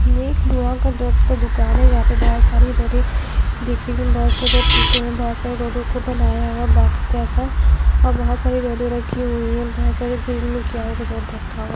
ये एक दवाओं का दर्द का दुकान हैं जहां पे बहोत सारे रडे दिख बहोत सारे टूटे हुए राडो को बनाया हुए बॉक्स जैसा और बहोत सारे रडे राखी हुई हैं बहोत सारे रखा हुए हैं।